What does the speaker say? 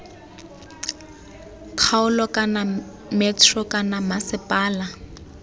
kgaolo kana metro kana mmasepala